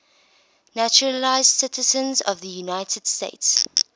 naturalized citizens of the united states